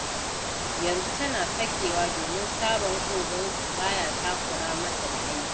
Yanzu tana sakewa domin sabon ogansu ba ya takura mata da aiki.